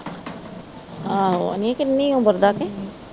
ਆਹੋ ਨੀ ਕਿਨ੍ਹੀ ਉਮਰ ਦਾ ਕੇ